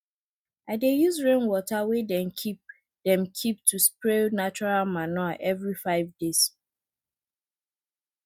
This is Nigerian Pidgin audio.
i dey use rainwater wey dem keep dem keep to spray natural manure every five days